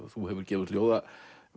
þú hefur gefið út ljóðabók